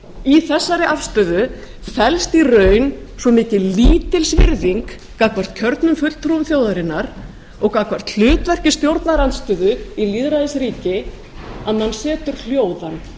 í þessari afstöðu felst í raun svo mikil lítilsvirðing gagnvart kjörnum fulltrúum þjóðarinnar og gagnvart stjórnarandstöðu í lýðræðisríki að mann setur hljóðan